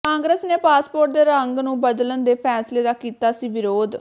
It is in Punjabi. ਕਾਂਗਰਸ ਨੇ ਪਾਸਪੋਰਟ ਦੇ ਰੰਗ ਨੂੰ ਬਦਲਣ ਦੇ ਫੈਸਲੇ ਦਾ ਕੀਤਾ ਸੀ ਵਿਰੋਧ